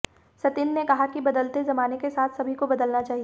सतिंद्र ने कहा कि बदलते जमाने के साथ सभी को बदलना चाहिए